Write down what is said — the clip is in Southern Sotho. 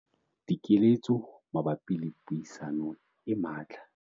Dikeletso mabapi le puisano e matla